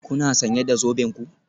Kuna sanye da zoben ku?